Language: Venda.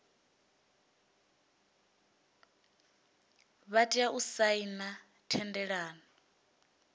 vha tea u saina thendelano